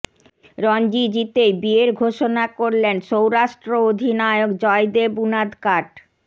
রঞ্জি জিতেই বিয়ের ঘোষণা করলেন সৌরাষ্ট্র অধিনায়ক জয়দেব উনাদকাট